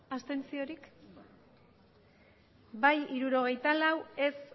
abstentzioak bai hirurogeita lau ez